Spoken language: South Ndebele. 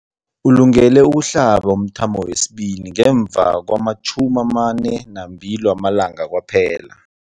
Ulungele ukuhlaba umthamo wesibili ngemva kwama-42 wamalanga kwaphela.